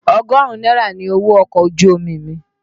Ọgọrun náírà ni owó ọkọ̀ ojú omi mi.